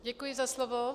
Děkuji za slovo.